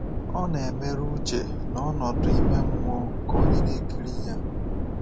Ọ na-emerụ uche na ọnọdụ ime mmụọ nke onye na-ekiri ya.